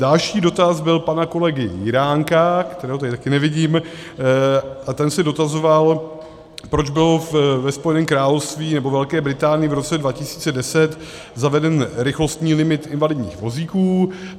Další dotaz byl pana kolegy Jiránka, kterého tady také nevidím, a ten se dotazoval, proč byl ve Spojeném království nebo Velké Británii v roce 2010 zaveden rychlostní limit invalidních vozíků.